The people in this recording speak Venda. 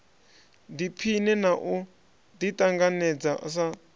ḓiphine na u ḓiṱanganedza sa